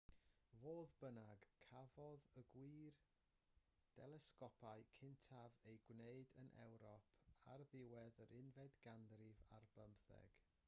fodd bynnag cafodd y gwir delesgopau cyntaf eu gwneud yn ewrop ar ddiwedd yr unfed ganrif ar bymtheg